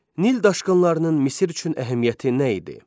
Nil daşqınlarının Misir üçün əhəmiyyəti nə idi?